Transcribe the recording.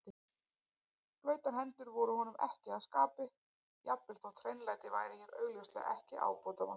Blautar hendur voru honum ekki að skapi, jafnvel þótt hreinlæti væri hér augljóslega ekki ábótavant.